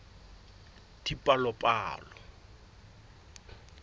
dipalopalo